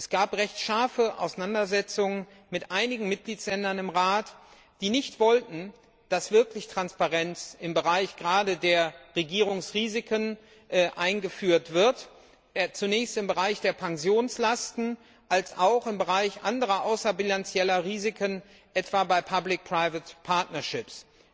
Es gab recht scharfe Auseinandersetzungen mit einigen Mitgliedstaaten im Rat, die nicht wollten, dass wirklich Transparenz, gerade im Bereich der Regierungsrisiken, eingeführt wird zunächst im Bereich der Pensionslasten, dann im Bereich anderer außerbilanzieller Risiken, etwa bei Public Private Partnerships